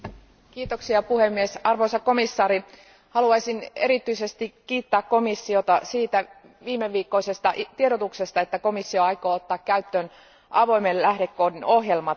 Arvoisa puhemies, arvoisa komission jäsen, haluaisin erityisesti kiittää komissiota siitä viimeviikkoisesta tiedotuksesta, että komissio aikoo ottaa käyttöön avoimen lähdekoodin ohjelmat.